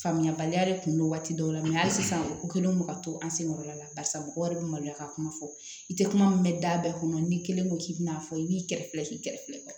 Faamuyabaliya de kun don waati dɔw la hali sisan u kɛlen don ka to an senkɔrɔla la barisa mɔgɔw yɛrɛ bɛ maloya ka kuma fɔ i tɛ kuma min mɛn da bɛɛ kɔnɔ n'i kelen ko k'i bɛna fɔ i b'i kɛrɛfɛ k'i kɛrɛfɛ